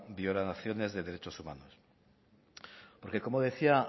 violaciones de derechos humanos porque como decía